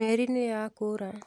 Meri nĩyakũra.